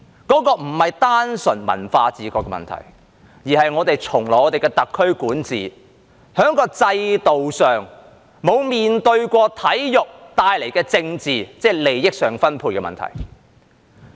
那不是單純文化自覺的問題，而是在我們特區從來的管治中，在制度上沒有面對過體育帶來的政治，即利益上分配的問題。